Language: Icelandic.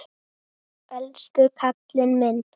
Elsku kallinn minn.